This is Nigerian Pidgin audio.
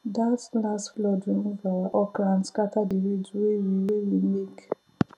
that last flood remove our okra and scatter the ridge wey we wey we make